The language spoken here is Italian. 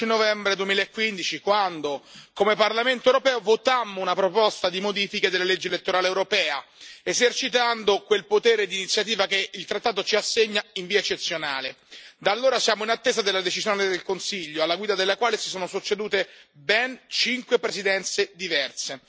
Signor Presidente, onorevoli colleghi, era l'11 novembre 2015 quando come Parlamento europeo votammo una proposta di modifica della legge elettorale europea, esercitando quel potere d'iniziativa che il trattato ci assegna in via eccezionale. Da allora siamo in attesa della decisione del Consiglio alla guida del quale si sono succedute ben cinque Presidenze diverse.